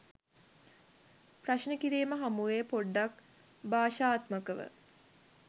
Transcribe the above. ප්‍රශ්න කිරීම් හමු වේ පොඩ්ඩක් භාෂාත්මකව